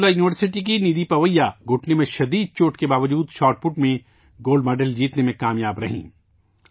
برکت اللہ یونیورسٹی کی ندھی پویا گھٹنے کی شدید چوٹ کے باوجود شاٹ پٹ میں گولڈ میڈل جیتنے میں کامیاب رہیں